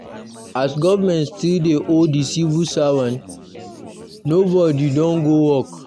As government still dey owe the civil servants, nobody don go work